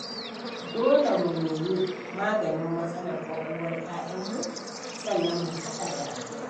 Dole mu nemi maganin matsalar ƙwaƙwalwar 'ya'yanmu sannan mu haɗa da addu’a.